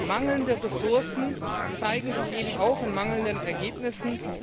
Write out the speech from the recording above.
Mangelnde Ressourcen zeigen sich eben auch in mangelnden Ergebnissen.